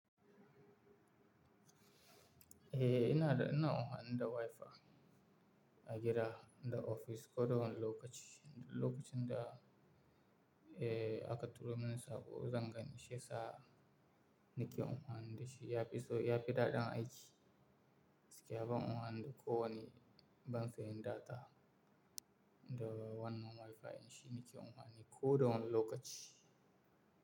Eh ina da, ina anfani da Wi-Fi a gida, da ofis ko da wani lokaci. Duk Lokacin da, eh aka turo min saƙo zan gane shiya sa ni ke anfani da shi. Ya fi so, ya fi daɗin aiki. Gaskiya ban anfani da ko wani ban sayin data da wannan Wi-Fi shi ni ke anfani ko da wani lokaci.